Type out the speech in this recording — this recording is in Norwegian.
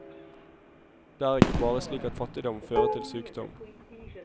Det er ikke bare slik at fattigdom fører til sykdom.